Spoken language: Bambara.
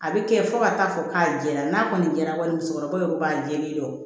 A bɛ kɛ fo ka taa fɔ k'a jɛra n'a kɔni jɛra kɔni musokɔrɔbaw ye u b'a jɛlen dɔn